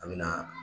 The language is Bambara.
An me na